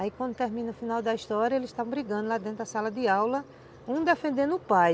Aí quando termina o final da história, eles estavam brigando lá dentro da sala de aula, um defendendo o pai,